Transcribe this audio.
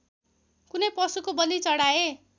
कुनै पशुको बलि चढाए